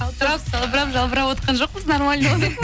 қалтырап салбырап жалбыравотқан жоқпыз нормально отырмыз